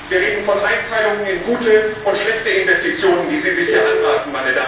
Wir reden von Einteilungen in gute und schlechte Investitionen, die Sie sich hier anmaßen.